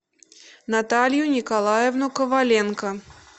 наталью николаевну коваленко